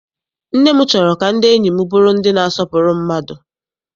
Nne m chọrọ ka ndị enyi m bụrụ ndị na-asọpụrụ mmadụ.